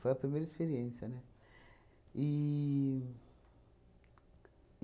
Foi a primeira experiência, né? E